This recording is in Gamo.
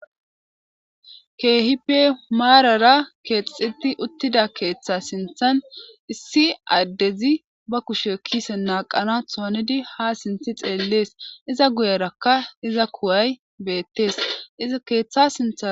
keehipe maarara keexxeti uttida keeththa sinthan issi addezi ba kushe kise naaqana toanidi ha sinthi xeellees iza guyerakka iza kuway beettees iza keeththa sinthan